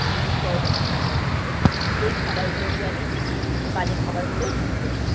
এগুলো সরানোর চেষ্টা করা হচ্ছে সেই খাবার গুলোকে আমি বাজে খাবার বলে মনে করি